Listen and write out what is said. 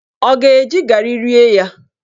Ọ ga-eji garị rie ya?